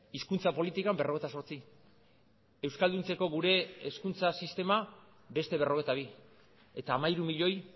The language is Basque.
hizkuntza politikan berrogeita zortzi euskalduntzeko gure hezkuntza sistema beste berrogeita bi eta hamairu milioi